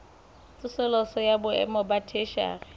tsosoloso ya boemo ba theshiari